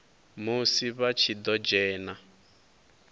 musi vha tshi ḓo dzhena